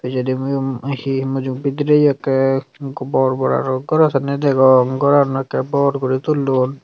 pijedi egun he bidire akke bor bor aro goro sanni degong goranu ekka bor gori tullon.